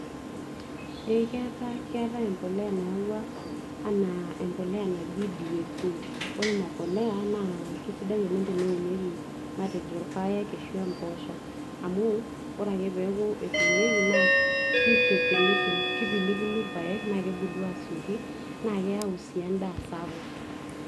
ee keetae, keetae empoleya nayawua anaa empoleya naji DAP ore ina puliya naa kisidai oleng teneunieki matejo irpayek ashui emposho amu ore ake peeku etunieki naa kitipilipil kipilipilu irpayek naa kebulu asioki naa keyau sii endaa sapuk.